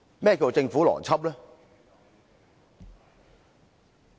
何謂政府邏輯？